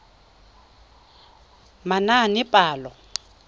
manaanepalo